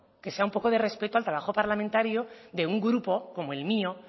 que sea un poco de respeto al trabajo parlamentario de un grupo como el mío